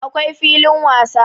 akwai filin wasa